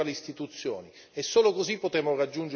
Solo così potremo raggiungere il nostro obiettivo.